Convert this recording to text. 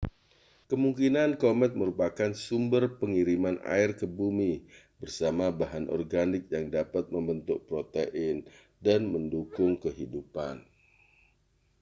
kemungkinan komet merupakan sumber pengiriman air ke bumi bersama bahan organik yang dapat membentuk protein dan mendukung kehidupan